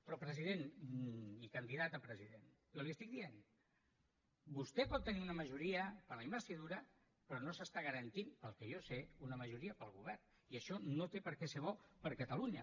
però president i candidat a president jo li ho estic dient vostè pot tenir una majoria per a la investidura però no s’està garantint pel que jo sé una majoria per al govern i això no té per què ser bo per a catalunya